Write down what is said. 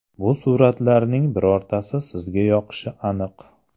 Bu suratlarning birortasi sizga yoqishi aniq.